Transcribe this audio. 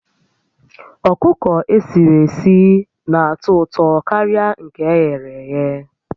Ọkụkọ esiri esi n'atọ ụtọ karịa nke e ghere éghé